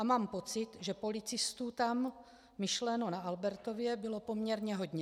A mám pocit, že policistů tam, myšleno na Albertově, bylo poměrně hodně.